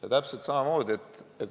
Ja täpselt samamoodi on pensionisüsteemiga.